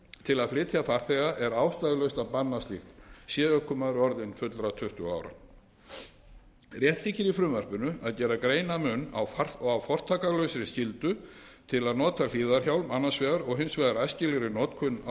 til að flytja farþega er ástæðulaust að banna slíkt sé ökumaður orðinn fullra tuttugu ára rétt þykir í frumvarpinu að gera greinarmun á fortakslausri skyldu til að nota hlífðarhjálm annars vegar og hins vegar æskilegri notkun á